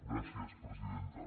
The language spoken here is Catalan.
gràcies presidenta